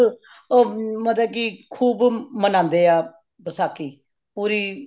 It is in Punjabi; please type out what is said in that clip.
ਉਹ ਮਤਲਬ ਕਿ ਖੂਬ ਮਨਾਂਦੇ ਹਾਂ ਵਸਾਖ਼ੀ ਪੂਰੀ